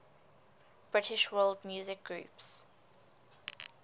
british world music groups